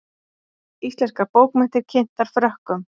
Íslenskar bókmenntir kynntar Frökkum